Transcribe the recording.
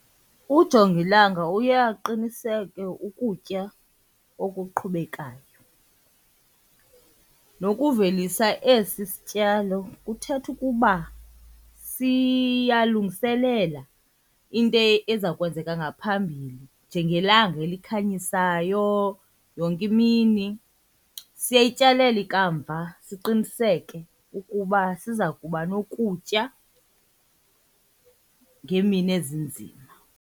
Ujongilanga uye aqiniseke ukutya okuqhubekayo nokuvelisa esi sityalo kuthetha ukuba siyalungiselela into ezakwenzeka ngaphambili njengelanga elikhanyisayo yonke imini. Siyayityalela ikamva siqiniseke ukuba siza kuba nokutya ngeemini ezinzima.